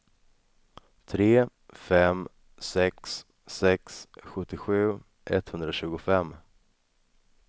tre fem sex sex sjuttiosju etthundratjugofem